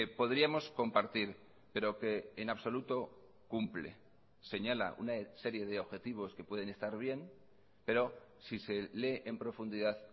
podríamos compartir pero que en absoluto cumple señala una serie de objetivos que pueden estar bien pero si se lee en profundidad